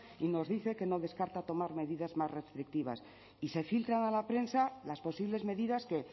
y nos dice que no descarta tomar medidas más restrictivas y se filtran a la prensa las posibles medidas que